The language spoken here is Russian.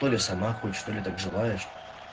толи сама хочешь толи так желаешь